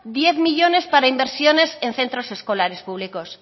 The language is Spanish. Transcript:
diez millónes para inversiones en centros escolares públicos